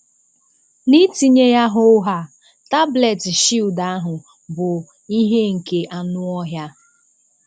N'itinye ya hoo haa, tablet Shield ahụ bụ ihe nke anụọhịa.